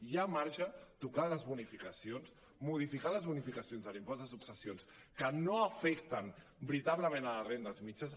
hi ha marge tocant les bonificacions modificar les bonificacions de l’impost de successions que no afecten veritablement a les rendes mitjanes